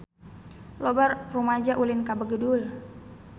Loba rumaja ulin ka Begudul